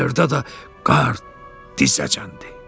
Bayırda da qar dizəcən idi.